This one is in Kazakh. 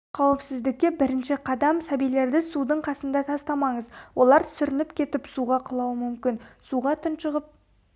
қауіпсіздікке бірінші қадам сәбилерді судың қасында тастамаңыз олар сүрініп кетіп суға құлауы мүмкін суға тұншығып